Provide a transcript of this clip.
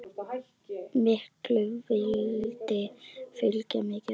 Miklu valdi fylgir mikil ábyrgð.